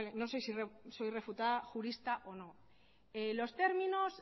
no sé si soy refutada jurista o no los términos